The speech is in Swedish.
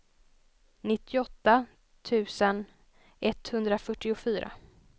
nittioåtta tusen etthundrafyrtiofyra